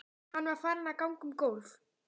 Hann var farinn að ganga um gólf.